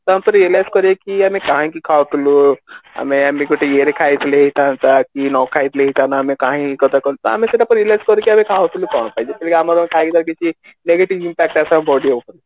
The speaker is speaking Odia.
ତାପରେ realize କରିବା କି ଆମେ କାହିଁକି ଖାଉଥିଲୁ ଆମେ ଆମେ ଗୋଟେ ଇଏ ରେ ଖାଇଥିଲି ନ ଖାଇ ଥିଲେ ହେଇଥାନ୍ତା କାହିଁ ଏଇଟାକୁ ଆମେ ସେ କଥାକୁ realize କରିକି ଆମେ ଖାଉଥିଲୁ କଣ ପାଇଁ ଯେତେବେଳେ କି negative impact ଆସେ body ଉପରେ